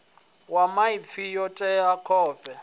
ya maipfi yo tea tshoṱhe